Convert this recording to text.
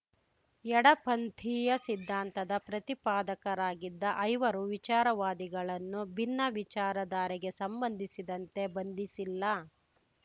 ಎಡಪಂಥೀಯ ಸಿದ್ಧಾಂತದ ಪ್ರತಿಪಾದಕರಾಗಿದ್ದ ಐವರು ವಿಚಾರವಾದಿಗಳನ್ನು ಭಿನ್ನ ವಿಚಾರಧಾರೆಗೆ ಸಂಬಂಧಿಸಿದಂತೆ ಬಂಧಿಸಿಲ್ಲ